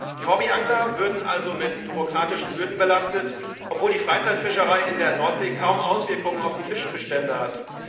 Die Hobbyangler würden also mit bürokratischen Hürden belastet, obwohl die Freizeitfischerei in der Nordsee kaum Auswirkungen auf die Fischbestände hat.